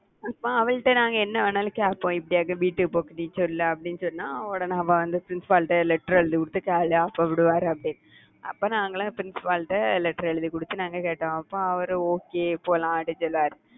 அப்போ அவள்ட்ட நாங்க என்ன வேணாலும் கேப்போம் இப்பயாவது வீட்டுக்கு போக சொல்ல அப்படின்னு சொன்னால் உடனே அவள் வந்து principal ட்ட letter எழுதிவிட்டு jolly ஆ போவிடுவாரு அப்படின்னு. அப்ப நாங்க எல்லாம் principal ட்ட letter எழுதிக் கொடுத்து நாங்க கேட்டோம். அப்போ அவரு okay போலாம் அப்படின்னு சொல்லுவாரு